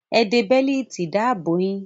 Ẹ de bẹ́lììtì ìdáàbò yín!